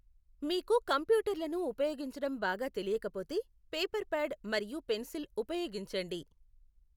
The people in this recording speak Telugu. మీకు కంప్యూటర్లను ఉపయోగించడం బాగా తెలియకపోతే, పేపర్ ప్యాడ్ మరియు పెన్సిల్ ఉపయోగించండి.